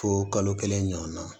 Fo kalo kelen ɲɔgɔnna